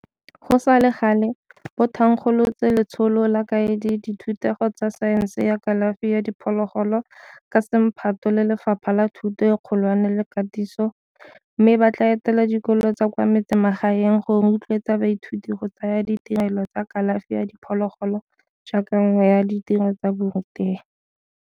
Go sa le gale, bo thankgolotse Letsholo la Kaedi ya Dithutego tsa Saense ya Kalafi ya Diphologolo ka semphato le Lefapha la Thuto e Kgolwane le Katiso, mme bo tla etela dikolo tsa kwa metsemagaeng go rotloetsa baithuti go tsaya ditirelo tsa kalafi ya diphologolo jaaka nngwe ya ditiro tsa borutegi.